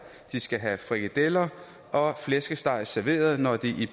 de skal have frikadeller og flæskesteg serveret når de